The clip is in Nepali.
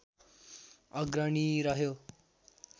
अग्रणी रह्यो